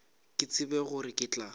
ke tsebe gore ke tla